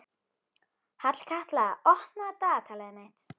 Hallkatla, opnaðu dagatalið mitt.